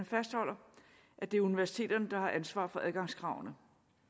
fastholder at det er universiteterne der har ansvar for adgangskravene